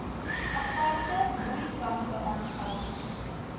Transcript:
aparte broeikampe aangehou